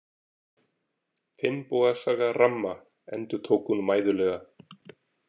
Finnboga saga ramma, endurtók hún mæðulega.